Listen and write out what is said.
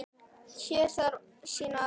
Hér þarf að sýna ábyrgð.